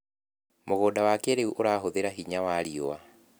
Mũgunda wa kĩrĩu ũrahũthĩra hinya wa riũa.